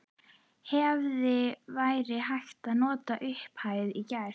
Hefði verið hægt að nota upphæðina í gær?